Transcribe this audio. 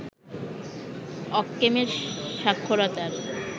অক্কেম এর সাক্ষরতার